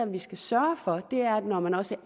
vi skal sørge for er at når man også